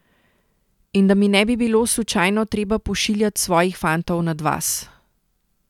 In da mi ne bi bilo slučajno treba pošiljat svojih fantov nad vas.